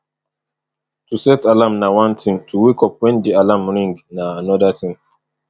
to set alarm na one thing to wake up when di alarm ring na anoda thing